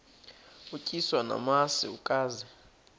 utyiswa namasi ukaze